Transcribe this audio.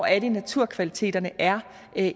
er naturkvaliteterne er